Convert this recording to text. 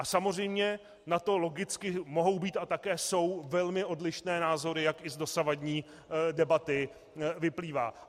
A samozřejmě na to logicky mohou být a také jsou velmi odlišné názory, jak již z dosavadní debaty vyplývá.